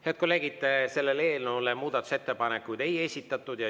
Head kolleegid, selle eelnõu kohta muudatusettepanekuid ei esitatud.